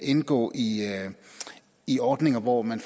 indgå i i ordninger hvor man